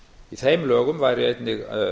í þeim lögum væri einnig